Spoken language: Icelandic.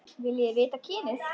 Viljiði vita kynið?